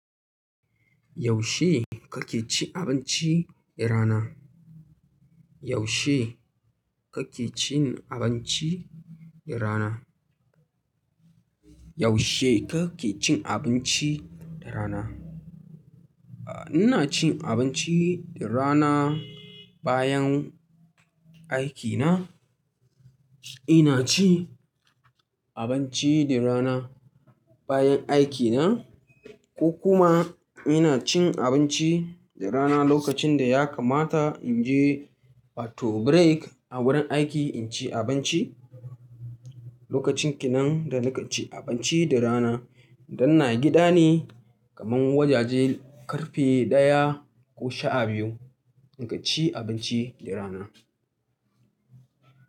Yaushe kake cin abinci da rana? Yaushe kake cin abinci da rana? Yaushe kake cin abinci da rana? Ah, ina cin abinci rana bayan aikina. Ina cin abinci da rana bayan aiki na ko kuma ina cin abinci da rana lokacin da ya kamata in je wato break a wurin aiki in ci abinci. Lokacin kenan da nake cin abinci da rana idan ina gida ne kaman wajajen karfe ɗaya ko sha biyu nake ci abinci da rana.